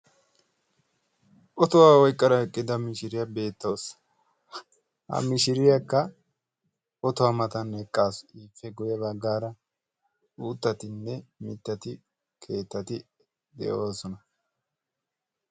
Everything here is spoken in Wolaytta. Otuwaa oyqqada eqqida mishiriyaa beettawusu. Ha mishiriyaakka otuwaa matan eqqaasu ippe guyye baggaara uuttaaranne mittati keettati de'oosona.